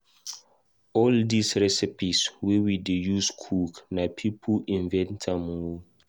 All these recipes wey we dey use cook, na people invent am oo